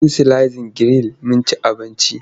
Mun sizlin giril mun ci abinci.